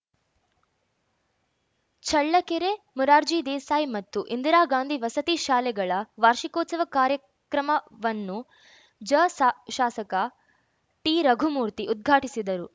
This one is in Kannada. ಚಳ್ಳಕೆರೆ ಮುರಾರ್ಜಿ ದೇಸಾಯಿ ಮತ್ತು ಇಂದಿರಾ ಗಾಂಧಿ ವಸತಿ ಶಾಲೆಗಳ ವಾರ್ಷಿಕೋತ್ಸವ ಕಾರ್ಯಕ್ರಮವನ್ನುಜ ಸಾ ಶಾಸಕ ಟಿರಘುಮೂರ್ತಿ ಉದ್ಘಾಟಿಸಿದರು